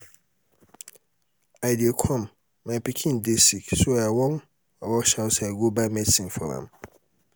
i dey come my pikin dey sick so i wan rush outside go buy medicine for am